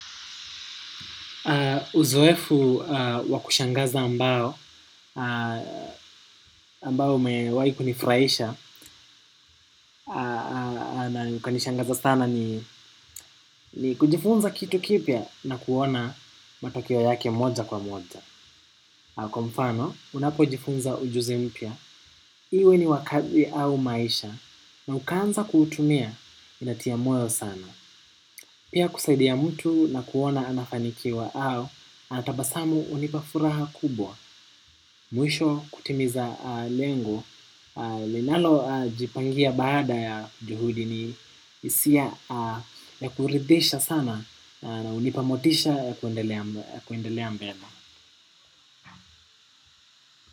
Uzoefu wakushangaza ambao, ambao imewai kunifurahisha na ikanishangaza sana ni kujifunza kitu kipya na kuona matokeo yake moja kwa moja. Na kwa mfano, unapo jifunza ujuzi mpya. Iwe ni wakazi au maisha na ukaanza kuutumia inatia moyo sana. Pia kusaidia mtu na kuona anafanikiwa au anatabasamu unipa furaha kubwa. Mwisho kutimiza lengo, linalo jipangia baada ya juhudi ni hisia ya kuridhisha sana na unipa motisha ya kuendelea mbele.